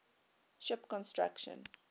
ship construction